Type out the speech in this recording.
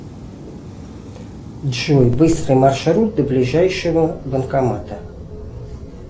джой быстрый маршрут до ближайшего банкомата